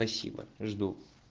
спасибо жду